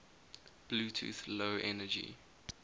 bluetooth low energy